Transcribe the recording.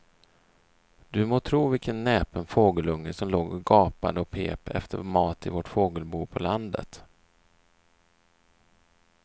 Du må tro vilken näpen fågelunge som låg och gapade och pep efter mat i vårt fågelbo på landet.